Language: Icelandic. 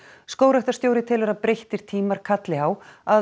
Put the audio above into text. skógræktarstjóri telur að breyttir tímar kalli á að